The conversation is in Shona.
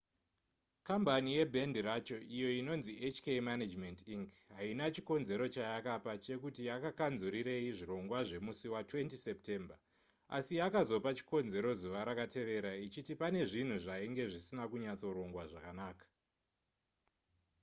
kambani yebhendi racho iyo inonzi hk management inc haina chikonzero chayakapa chekuti yakakanzurirei zvirongwa zvemusi wa20 september asi yakazopa chikonzero zuva rakatevera ichiti pane zvinhu zvainge zvisina kunyatsorongwa zvakanaka